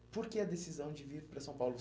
E por que a decisão de vir para São Paulo?